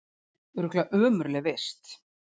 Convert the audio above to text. Örugglega ömurleg vist